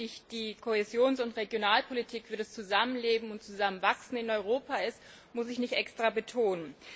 Wie wichtig die Kohäsions und Regionalpolitik für das Zusammenleben und Zusammenwachsen in Europa ist, muss ich nicht extra betonen.